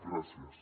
gràcies